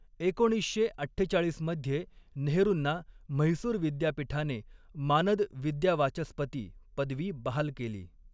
एकोणीसशे अठ्ठेचाळिस मध्ये नेहरूंना म्हैसूर विद्यापीठाने मानद विद्यावाचस्पती पदवी बहाल केली.